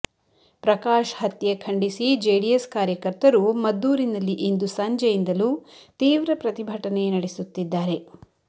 ಪ್ರಕಾಶ್ ಹತ್ಯೆ ಖಂಡಿಸಿ ಜೆಡಿಎಸ್ ಕಾರ್ಯಕರ್ತರು ಮದ್ದೂರಿನಲ್ಲಿ ಇಂದು ಸಂಜೆಯಿಂದಲೂ ತೀವ್ರ ಪ್ರತಿಭಟನೆ ನಡೆಸುತ್ತಿದ್ದಾರೆ